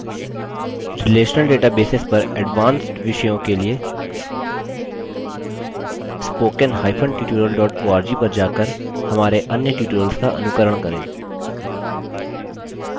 relational databases पर advanced विषयों के लिए spokentutorial org पर जाकर हमारे अन्य tutorials का अनुकरण करें